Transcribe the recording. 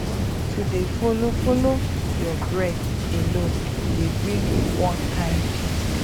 to dey follow follow your breath alone dey bring one kind peace